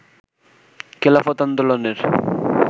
খেলাফত আন্দোলনের